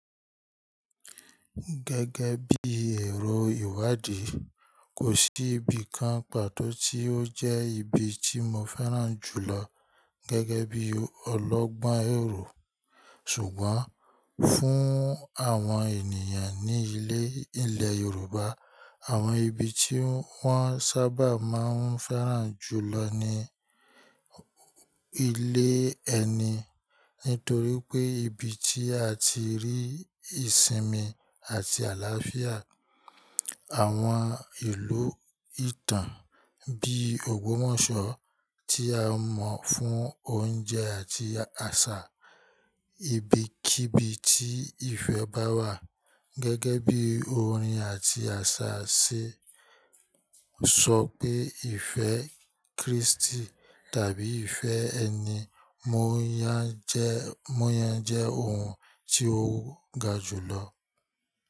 Gẹ́gẹ́ bí ẹrọ ìwádìí, kò sí ibi kan pàtó tí ó jẹ́ ibi tí mo fẹ́ràn jùlọ gẹ́gẹ́ bí ọlọ́gbọ́n èrò. Ṣùgbọ́n, fún àwọn ènìyàn ní ilẹ̀ Yorùbá, àwọn ibi tí wọ́n sábà máa ń fẹ́ràn jùlọ ni ilé ẹni. Nítorí pé ibi tí a ti rí ìsinmi àti àlàáfíà. Àwọn ìlú ìtàn bí Ògbómọ̀ṣọ́ tí a mọ̀ fún oúnjẹ àti àṣà. Ibi kí ibi tí ìfẹ́ bá wà. Gẹ́gẹ́ bí orin àti àṣà ṣe sọ pé ìfẹ́ Kristì tàbí ìfẹ́ ẹni mo yán jẹ́ ohun tí ó ga jùlọ.